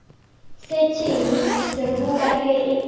setšhene seroboka e be e